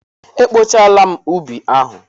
E kpochaala m ubi ahụ.